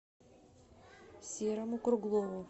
серому круглову